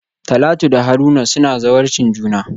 Talatu da Haruna suna zawarcin juna.